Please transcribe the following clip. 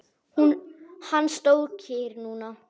Hann stóð kyrr núna.